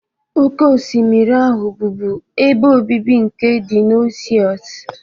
Oké osimiri ahụ bụbu ebe obibi nke dinosaurs.